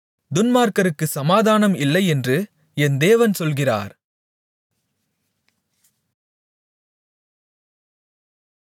துன்மார்க்கருக்குச் சமாதானம் இல்லையென்று என் தேவன் சொல்கிறார்